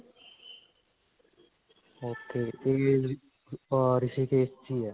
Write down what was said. ok. Rishikesh 'ਚ ਹੀ ਹੈ.